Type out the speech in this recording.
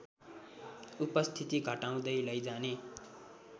उपस्थिति घटाउँदै लैजाने